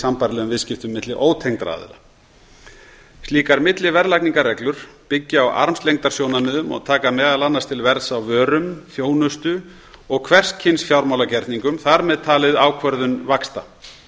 sambærilegum viðskiptum milli ótengdra aðila slíkar milliverðlagningarreglur byggja á armslengdarsjónarmiðum og taka meðal annars til verðs á vörum þjónustu og hvers kyns fjármálagerningum þar með talið ákvörðun vaxta